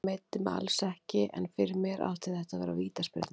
Ég meiddi mig alls ekki, en fyrir mér átti þetta að vera vítaspyrna.